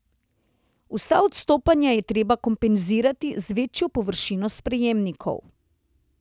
Vsa odstopanja je treba kompenzirati z večjo površino sprejemnikov.